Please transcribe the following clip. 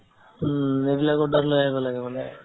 উম, এইবিলাক order লৈ আহিব লাগে মানে